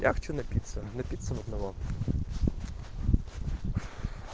я хочу напиться напиться в одного